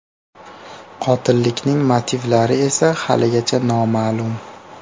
Qotillikning motivlari esa haligacha noma’lum.